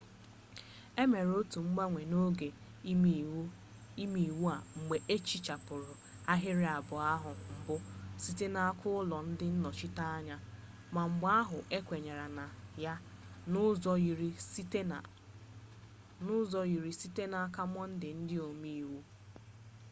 e mere otu mgbanwe n'oge imeiwu a mgbe ehichapụrụ ahịrị abụọ ahụ mbụ site n'aka ụlọ ndị nnọchiteanya ma mgbe ahụ ekwenye na ya n'ụzọ yiri site n'aka mọnde ndị omeiwu